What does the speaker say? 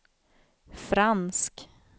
fransk